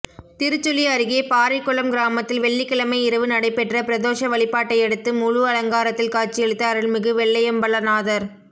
திருச்சுழி அருகே பாறைக்குளம் கிராமத்தில் வெள்ளிக்கிழமை இரவு நடைபெற்ற பிரதோஷ வழிபாட்டையடுத்து முழு அலங்காரத்தில் காட்சியளித்த அருள்மிகு வெள்ளியம்பலநாதா்